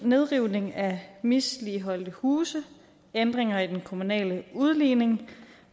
nedrivning af misligholdte huse ændringer i den kommunale udligning